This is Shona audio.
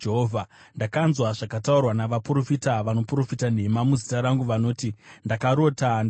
“Ndakanzwa zvakataurwa navaprofita vanoprofita nhema muzita rangu. Vanoti, ‘Ndakarota! Ndakarota!’